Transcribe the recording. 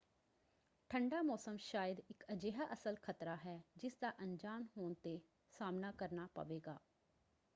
ਠੰਡਾ ਮੌਸਮ ਸ਼ਾਇਦ ਇੱਕ ਅਜਿਹਾ ਅਸਲ ਖਤਰਾ ਹੈ ਜਿਸਦਾ ਅਣਜਾਣ ਹੋਣ 'ਤੇ ਸਾਹਮਣਾ ਕਰਨਾ ਪਵੇਗਾ।